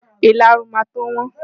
Ìlarun máa tó wọ́n.